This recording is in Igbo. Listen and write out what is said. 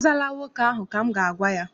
Azaala nwoke ahụ! Ka m ga-agwa ya.